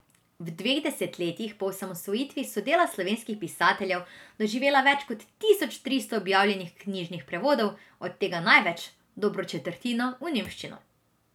V dveh desetletjih po osamosvojitvi so dela slovenskih pisateljev doživela več kot tisoč tristo objavljenih knjižnih prevodov, od tega največ, dobro četrtino, v nemščino.